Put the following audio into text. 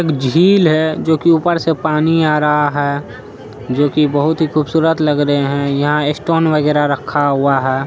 एक झील है जोकि ऊपर से पानी आ रहा है जोकि बहुत ही खूबसूरत लग रहे हैं यहाँ स्टोन वगेरा रखा हुआ है।